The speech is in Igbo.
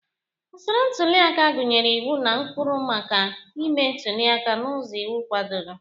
Usoro ntuli aka gụnyere iwu na ụkpụrụ maka ịme ntuli aka n'ụzọ iwu kwadoro